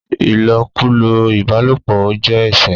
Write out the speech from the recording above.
ilokulo ìbálòpọ̀ ọ jé ẹṣẹ.